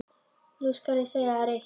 Nú skal ég segja þér eitt.